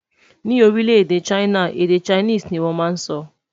Ní orile-ede china, èdè Chinese ní wón má sọ